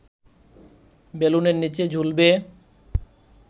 বেলুনের নিচে ঝুলবে